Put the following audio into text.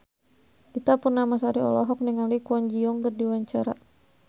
Ita Purnamasari olohok ningali Kwon Ji Yong keur diwawancara